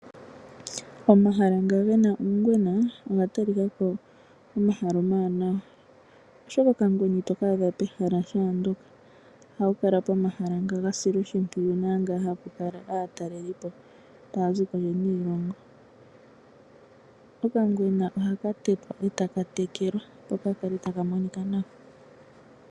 Omahala ngoka gena uungwena oga ta lika ko omahala omawanawa oshoka okangwena ito kaadha pehala shaandoka pomahala ga silwa oshimpwiyu naampa hapu kala aataleli po yaza kondje yiilongo. Okangwena ohaka tetwa etaka tekelwa nawa.